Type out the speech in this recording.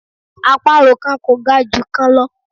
Àparò kan kò ga ju kan lọ